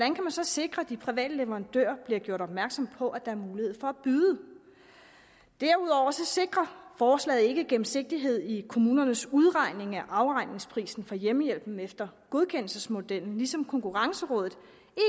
så sikre at de private leverandører bliver gjort opmærksom på at der er mulighed for at byde derudover sikrer forslaget ikke gennemsigtighed i kommunernes udregning af afregningsprisen for hjemmehjælpen efter godkendelsesmodellen ligesom konkurrencerådet